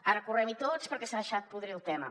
ara correm hi tots perquè s’ha deixat podrir el tema